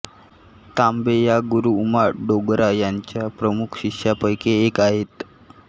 तांबे या गुरू उमा डोगरा यांच्या प्रमुख शिष्यांपैकी एक आहेत